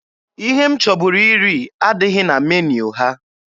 Ihe m chọburu iri adịghị na meniu ha.